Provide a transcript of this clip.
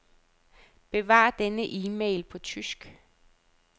Besvar denne e-mail på tysk.